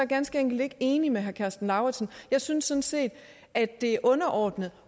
ganske enkelt ikke enig med herre karsten lauritzen jeg synes sådan set at det er underordnet